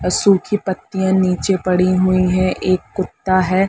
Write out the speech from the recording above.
और सुखी पत्तिया नीचे पड़ी हुई है। एक कुत्ता है।